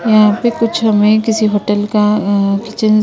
यहां पे कुछ हमें किसी होटल का अह किचन --